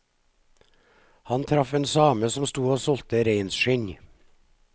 Han traff en same som stod og solgte reinskinn.